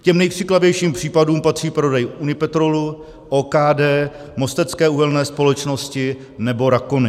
K těm nejkřiklavějším případům patří prodej Unipetrolu, OKD, Mostecké uhelné společnosti nebo Rakony.